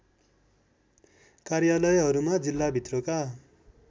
कार्यालयहरूमा जिल्लाभित्रका